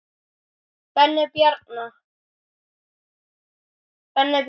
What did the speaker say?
Benni Bjarna.